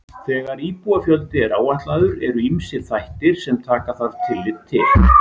Þegar íbúafjöldi er áætlaður eru ýmsir þættir sem taka þarf tillit til.